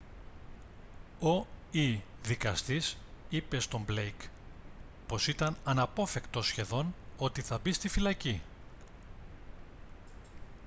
ο/η δικαστής είπε στον blake πως ήταν «αναπόφευκτο σχεδόν» ότι θα μπει στη φυλακή